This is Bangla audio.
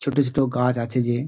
ছোট ছোট গাছ আছে যে।